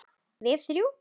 Við þrjú.